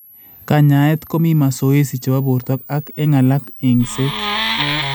Kanyaeet komii masoesi chebo borto ak eng' alak eng'seet